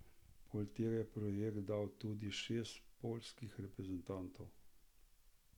Poleg tega je projekt dal tudi šest poljskih reprezentantov.